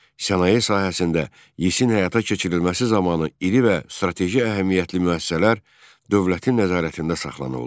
Sənaye sahəsində Yisin həyata keçirilməsi zamanı iri və strateji əhəmiyyətli müəssisələr dövlətin nəzarətində saxlanıldı.